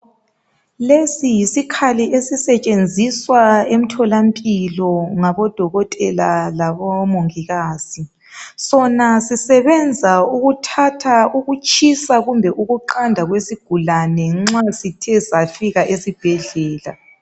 lesi yisikhaliesisetshenziswa emtholampilo ngabodokotela labomongikazi sona sisebenza ukuthatha ukuqanda kumbe ukutshisa kwesigulane nxasithe safika esibhedlela